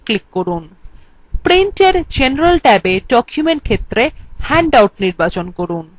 print এর general ট্যাবে document ক্ষেত্রে handout নির্বাচন করুন